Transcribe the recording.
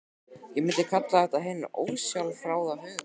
Ég myndi kalla þetta hinn ósjálfráða huga.